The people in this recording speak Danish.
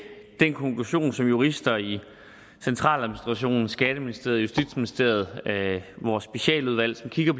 den konklusion som jurister i centraladministrationen skatteministeriet justitsministeriet og vores specialudvalg som kigger